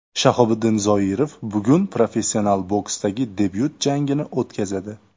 Shahobiddin Zoirov bugun professional boksdagi debyut jangini o‘tkazadi.